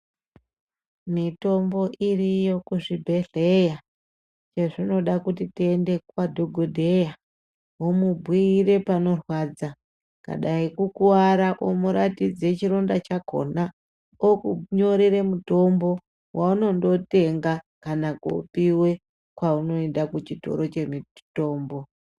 Mitombo iriyo kuzvibhedhlera zvezvinoda kuti tiende kwadhogodheya womubhuyire panorwadza kana dani kukuwara womuratidze chironda chakhona okunyorere mutombo waunondotenga kana kopiwe kwaunoende kuchitoro chemutombo.